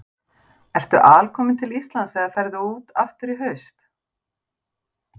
Ertu alkominn til Íslands eða ferðu út aftur í haust?